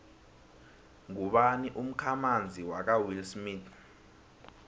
ngubani umkhamanzi kawillsmith